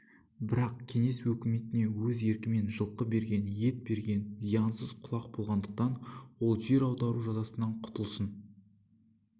бірақ кеңес өкіметіне өз еркімен жылқы берген ет берген зиянсыз құлақ болғандықтан ол жер аудару жазасынан құтылсын